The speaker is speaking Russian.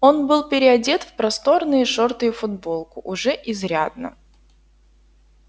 он был переодет в просторные шорты и футболку уже изрядно